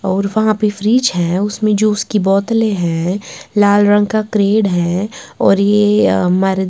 और वहां पे फ्रिज है उसमें जूस की बोतलें हैं लाल रंग का क्रेड है और ये अ --